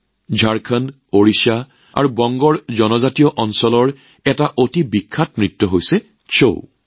ঝাৰখণ্ড ওড়িশা আৰু বংগ আদি জনজাতীয় অঞ্চলত অতি বিখ্যাত নৃত্যক ছাউ বুলি কোৱা হয়